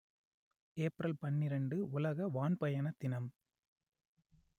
April பன்னிரண்டு உலக வான் பயண தினம்